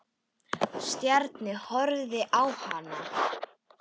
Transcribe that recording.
Stjáni horfði á hann.